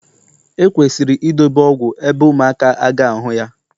ekwesịrị idobe ọgwụ ebe ụmụaka a ga ahu ya